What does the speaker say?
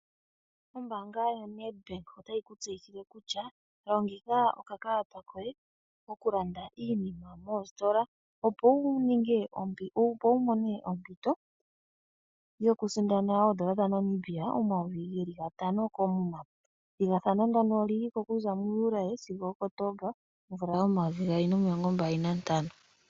Ombaanga yo Nedbank otayi ku tseyithile kutya longitha okakalata koye moku landa iinima moositola opo wu mone ompito yoku sindana oondola dha Namibia omayovi geli gatano koomuma. Ethigathano ndono olyili ko mu Juli sigo Okotomba omvula yomayovi nomilongo mbali nantano.